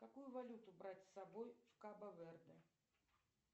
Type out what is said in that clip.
какую валюту брать с собой в кабо верде